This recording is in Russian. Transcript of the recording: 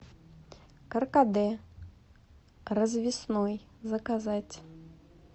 каркаде развесной заказать